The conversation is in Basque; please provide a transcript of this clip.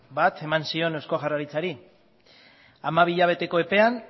bat eman zion eusko jaurlaritzari hamabi hilabeteko epean